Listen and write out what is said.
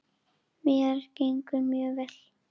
Mér gengur mjög vel.